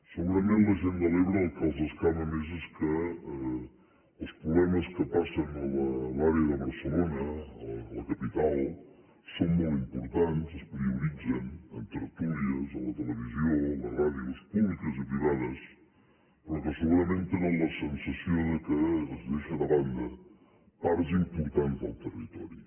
segurament a la gent de l’ebre el que els escama més és que els problemes que passen a l’àrea de barcelona a la capital són molt importants es prioritzen en tertúlies a la televisió a les ràdios públiques i privades però que segurament tenen la sensació que es deixa de banda parts importants del territori